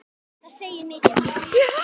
Það segir mikið.